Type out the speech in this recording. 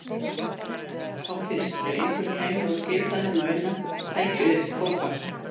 Þá fyrst, ef einhver kæmi og skipaði þeim að vinna, tækju þeir til fótanna.